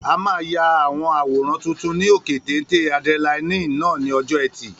A máa ya àwọn àwòrán tuntun ní òkè téńté ádírẹ́láínì náà ní ọjọ́ ẹtì